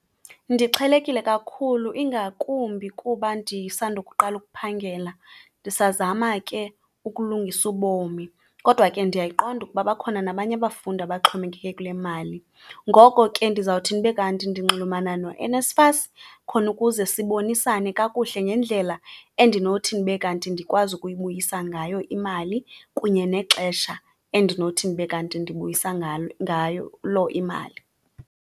Ndixhelekile kakhulu ingakumbi kuba ndisandukuqala ukuphangela ndisazama ke ukulungisa ubomi. Kodwa ke ndiyayiqonda ukuba bakhona nabanye abafundi abaxhomekeke kule mali, ngoko ke ndizawuthini ube kanti ndinxulumana noNSFAS khona ukuze sibonisane kakuhle ngendlela endinothi ndibe kanti ndikwazi ukuyibuyisa ngayo imali kunye nexesha endinothi ndibe kanti ndibuyisa ngalo ngayo imali.